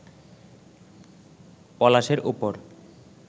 পলাশের ওপর